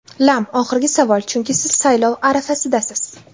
Lam: Oxirgi savol, chunki siz saylov arafasidasiz.